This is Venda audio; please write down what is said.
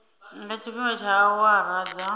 nga tshifhinga tsha awara dza